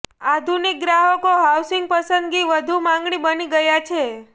આધુનિક ગ્રાહકો હાઉસિંગ પસંદગી વધુ માગણી બની ગયા છે